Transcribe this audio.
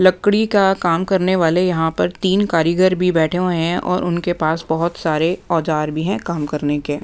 लकड़ी का काम करने वाले यहाँ पर तीन कारीगर भी बैठे हुए हैं और उनके पास बहुत सारे औजार भी हैं काम करने के--